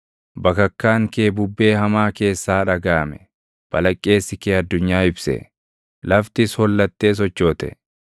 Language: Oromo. Bakakkaan kee bubbee hamaa keessaa dhagaʼame; balaqqeesi kee addunyaa ibse; laftis hollattee sochoote.